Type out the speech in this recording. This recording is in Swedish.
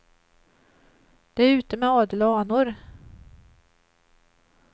Det är ute med adel och anor.